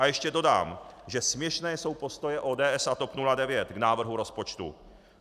A ještě dodám, že směšné jsou postoje ODS a TOP 09 k návrhu rozpočtu.